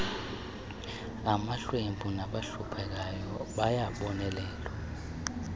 amahlwempu nabahluphekayo bayabonelelwa